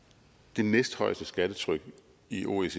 det næsthøjeste skattetryk i oecd